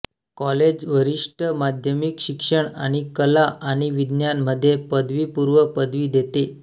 college वरिष्ठ माध्यमिक शिक्षण आणि कला आणि विज्ञान मध्ये पदवीपूर्व पदवी देते